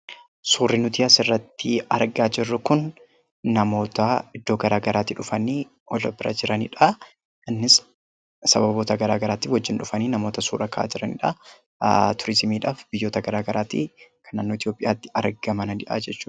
Suurri nuti asirratti argaa jirru kun namoota iddoo garaagaraatii dhufanii wal bira jiraniidhaa. Innis sababoota garaagaraatiin wajjin dhufanii namoota suuraa ka'aa jiraniidhaa. Turizimiidhaaf biyyoota garaagaraatii kan naannoo Itoophiyaatti argamanii dha jechuu dha.